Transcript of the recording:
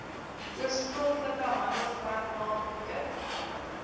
oorspronklike handelsmerknaam produk